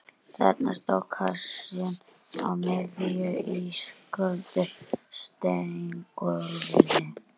Þarna stóð kassinn á miðju ísköldu steingólfinu.